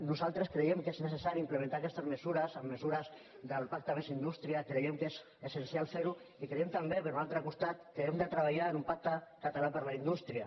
nosaltres creiem que és necessari implementar aquestes mesures amb mesures del pacte més indústria creiem que és essencial fer ho i creiem també per un altre costat que hem de treballar en un pacte català per la indústria